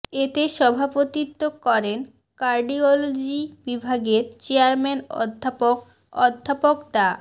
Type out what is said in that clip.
এতে সভাপতিত্ব করেন কার্ডিওলজি বিভাগের চেয়ারম্যান অধ্যাপক অধ্যাপক ডা